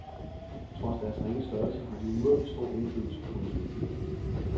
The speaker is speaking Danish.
Trods deres ringe størrelse har de umådelig stor indflydelse. punktum